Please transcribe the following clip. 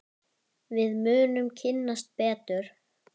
Við munum kynnast betur.